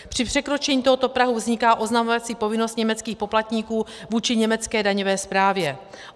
Při překročení tohoto prahu vzniká oznamovací povinnost německých poplatníků vůči německé daňové správě.